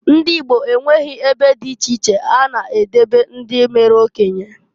Ndị Igbo enweghi ebe dị iche ha na edebe ndị mere okenye.